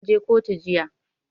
Mun je kotun jiya.